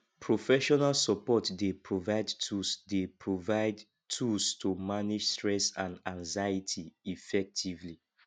professional support dey provide tools dey provide tools to manage stress and anxiety effectively